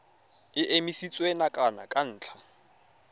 e emisitswe nakwana ka ntlha